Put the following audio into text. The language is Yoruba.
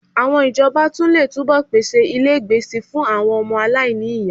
Àwọn ìjọba tún lè túbọ̀ pèsè ilégbèé síi fún àwọn ọmọ aláìní ìyá